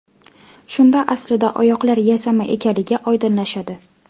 Shunda aslida oyoqlar yasama ekanligi oydinlashadi.